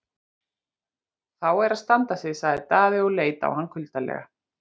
Þá er að standa sig, sagði Daði og leit á hann kuldalega.